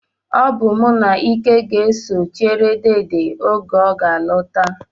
Ọ bụ mụ na Ike ga-eso chere deede oge ọ ga-alọta